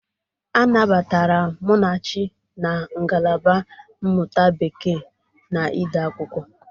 A nabatara Munachi na ngalaba mmụta Bekee na ide akwụkwọ.